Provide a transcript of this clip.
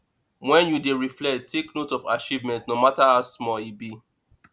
when you dey reflect take note of achievements no matter how small e be